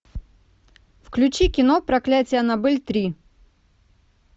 включи кино проклятие аннабель три